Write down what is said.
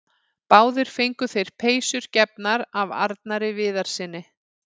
Báðir fengu þeir peysur gefnar af Arnari Viðarssyni.